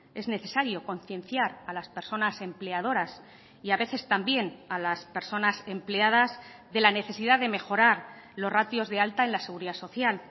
es necesario concienciar a las personas empleadoras y a veces también a las personas empleadas de la necesidad de mejorar los ratios de alta en la seguridad social